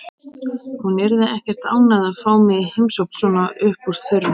Hún yrði ekkert ánægð að fá mig í heimsókn svona upp úr þurru.